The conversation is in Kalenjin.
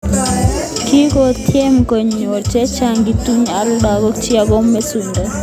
Kikotiem konyil chechang kituyo ak lakok chik ako maisuldae.